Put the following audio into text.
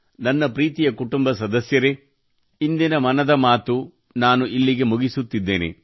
ನನ್ನ ಪ್ರೀತಿಯ ಕುಟುಂಬ ಸದಸ್ಯರೇ ಇಂದಿನ ಮನದ ಮಾತು ನಾನು ಇಲ್ಲಿಗೆ ಮುಗಿಸುತ್ತಿದ್ದೇನೆ